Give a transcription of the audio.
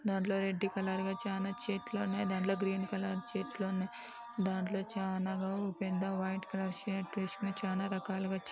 దాంట్లో red colour గా చానా చెట్లు ఉన్నాయి దాంట్లో గ్రీన్ కలర్ చెట్లు ఉన్నాయి దాంట్లో చానా గా ఓ పెద్ద వైట్ కలర్ షర్ట్ వేసుకొని చాలా రకాలుగా చి--